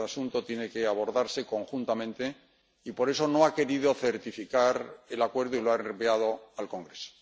Este asunto tiene que abordarse conjuntamente y por eso no ha querido certificar el acuerdo y lo ha reenviado al Congreso.